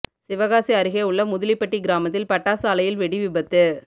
சிவகாசி அருகே உள்ள முதலிப்பட்டி கிராமத்தில் பட்டாசு ஆலையில் வெடி விபத்து